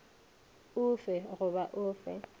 o fe goba o fe